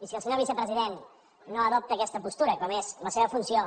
i si el senyor vicepresident no adopta aquesta postura com és la seva funció